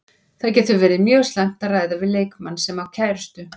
Það getur verið mjög slæmt að ræða við leikmann sem á kærustu.